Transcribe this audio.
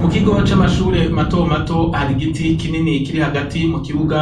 Mu kigo camashure matomato ,hari igiti kinini Kiri Hagati mukibuga